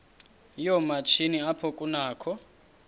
yoomatshini apho kunakho